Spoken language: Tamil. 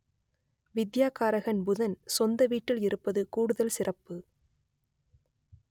வித்யாகாரகன் புதன் சொந்த வீட்டில் இருப்பது கூடுதல் சிறப்பு